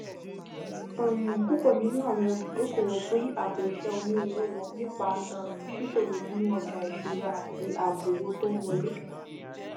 um púpọ nínú àwọn olùdókòwò pín àpò iṣẹ onírúurú wọn nípa um ṣíṣòwò nínú ọjà ìṣúra àti ààbò owó tó ń wọlé